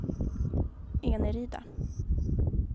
Eneryda